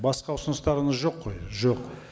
басқа ұсыныстарыңыз жоқ қой жоқ